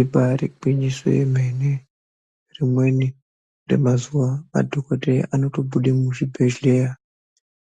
Ibari gwinyiso remene rimweni remazuwa madhokodheya anotobuda muzvibhehleya